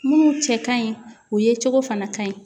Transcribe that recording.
Minnu cɛ ka ɲi u ye cogo fana ka ɲi